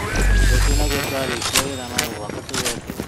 Rũciũ naguo twarĩkia wĩra no mũhaka tũgekenie